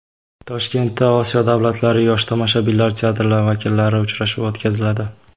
Toshkentda Osiyo davlatlari yosh tomoshabinlar teatrlari vakillarining uchrashuvi o‘tkaziladi.